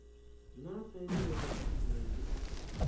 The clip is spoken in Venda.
naa tsaino ya didzhithala ndi